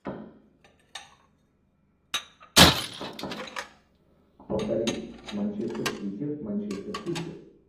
повтори манчестер сити манчестер сити